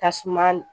Tasuma